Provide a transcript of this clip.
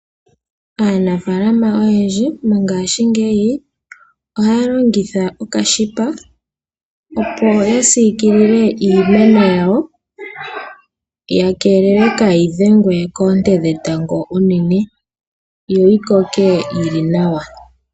Aanafaalama oyendji mongaashingeyi ohaya longitha okashipa. Opo ya siikilile iimeno yawo ya keelele kaayi dhengwe koonte dhetango uunene, yo yikoke yili nawa.